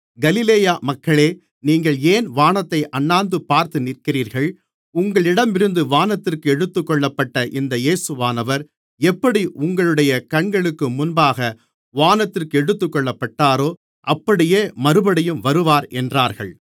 கலிலேய மக்களே நீங்கள் ஏன் வானத்தை அண்ணாந்துபார்த்து நிற்கிறீர்கள் உங்களிடமிருந்து வானத்திற்கு எடுத்துக்கொள்ளப்பட்ட இந்த இயேசுவானவர் எப்படி உங்களுடைய கண்களுக்கு முன்பாக வானத்திற்கு எடுத்துக்கொள்ளப்பட்டாரோ அப்படியே மறுபடியும் வருவார் என்றார்கள்